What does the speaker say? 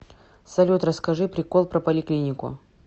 салют расскажи прикол про поликлинику